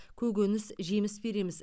көкөніс жеміс береміз